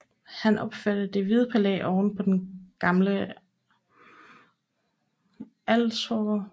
Han opførte Det Hvide Palæ ovenpå den gamle avlsgård